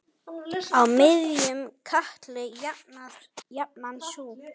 Á miðjum katli jafnan sú.